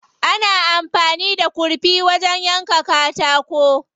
Ana amfani da kurfi wajen yanka katako.